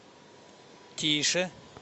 тише